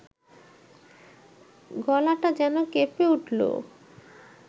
গলাটা যেন কেঁপে উঠল